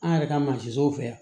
An yɛrɛ ka mansinw fɛ yan